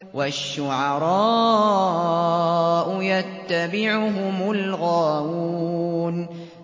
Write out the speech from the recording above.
وَالشُّعَرَاءُ يَتَّبِعُهُمُ الْغَاوُونَ